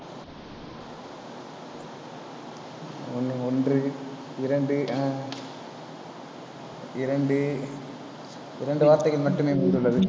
ஒண்ணு, ஒன்று, இரண்டு, ஹம் இரண்டு, இரண்டு வார்த்தைகள் மட்டுமே மீதம் உள்ளது.